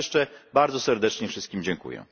Raz jeszcze bardzo serdecznie wszystkim dziękuję.